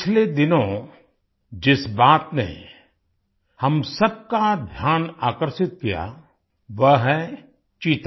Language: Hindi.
पिछले दिनों जिस बात ने हम सब का ध्यान आकर्षित किया वह है चीता